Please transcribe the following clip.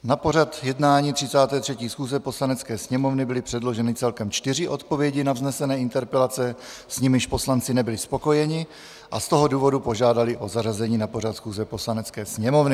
Na pořad jednání 33. schůze Poslanecké sněmovny byly předloženy celkem čtyři odpovědi na vznesené interpelace, s nimiž poslanci nebyli spokojeni, a z toho důvodu požádali o zařazení na pořad schůze Poslanecké sněmovny.